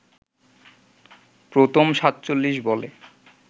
প্রথম ৪৭ বলে